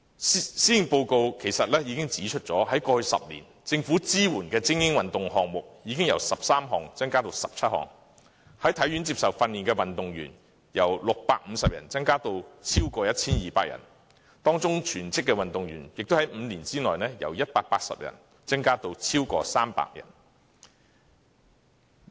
施政報告已經指出，政府過去10年支援的精英運動項目已經由13項增加至17項，在體院接受訓練的運動員由650人增加至超過 1,200 人，當中全職運動員在5年內亦由180人增加至超過300人。